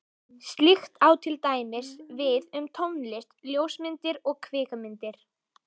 Slíkt á til dæmis við um tónlist, ljósmyndir og kvikmyndir.